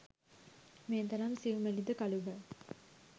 මේ තරම් සියුමැලි ද කළු ගල්